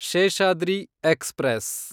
Seshadri express